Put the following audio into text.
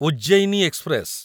Ujjaini express